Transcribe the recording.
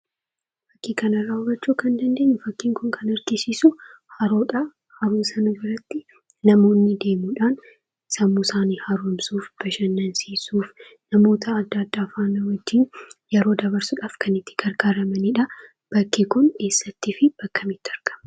Fakkii kana irraa hubachuu kan dandeenyu, fakkiin kun kan argisiisu haroodhaa. Haroo sana biratti namoonni deemuudhaan sammuu isaanii haaromsuuf, bashannansiisuuf, namoota adda addaa faana wajjin yeroo dabarsuudhaaf kan itti gargaaramanidha. Bakki kun eessattii fi bakka kamitti argama?